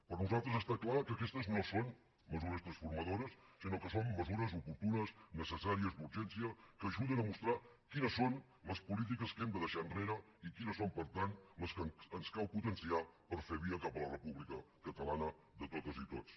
per nosaltres està clar que aquestes no són mesures transformadores sinó que són mesures oportunes necessàries d’urgència que ajuden a mostrar quines són les polítiques que hem de deixar enrere i quines són per tant les que ens cal potenciar per fer via cap a la república catalana de totes i tots